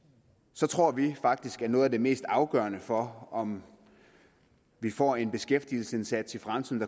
så tror vi faktisk at noget af det mest afgørende for om vi får en beskæftigelsesindsats i fremtiden